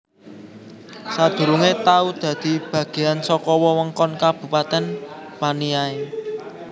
Sadurungé tau dadi bagéyan saka wewengkon Kabupatèn Paniai